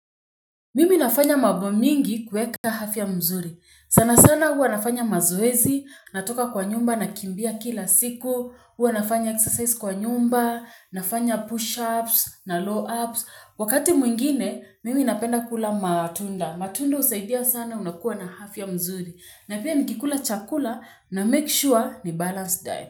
Mimi nafanya mambo mingi kuweka afya mzuri. Sana sana hua nafanya mazoezi, natoka kwa nyumba nakimbia kila siku, huwa nafanya exercise kwa nyumba, nafanya push-ups na low-ups. Wakati mwingine, mimi napenda kula matunda. Matunda husaidia sana unakuwa a afya mzuri. Na pia nikikula chakula na make sure ni balance diet.